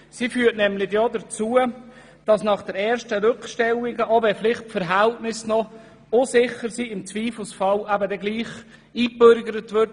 Sie führt nämlich auch dazu, dass nach den ersten Rückstellungen, vielleicht wenn die Verhältnisse unsicher sind, im Zweifelsfall gleichwohl eingebürgert würde.